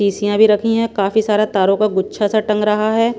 पीसियाँ भी रखी हैं काफी सारा तारों का गुच्छा सा टंग रहा है।